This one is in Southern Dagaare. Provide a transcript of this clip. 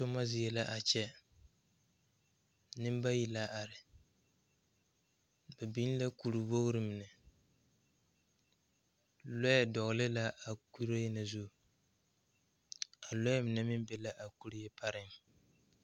Toma zie la a kyɛ neŋ bayi la are ba biŋ la kuriwogre mine lɔɛ dɔgle la a kuree na zu a lɔɛ mine meŋ be la a kuree pareŋ.